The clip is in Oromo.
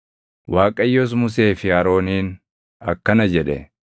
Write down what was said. Waaqayyos Musee fi Arooniin akkana jedhe;